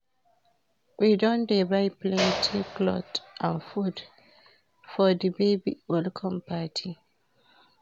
We don dey buy plenty cloth and food for di baby welcome party.